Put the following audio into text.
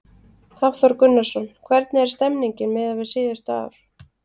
Hafþór Gunnarsson: Hvernig er stemningin miðað við síðustu ár?